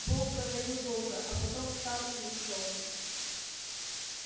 бог говорил долго а потом встал и ушёл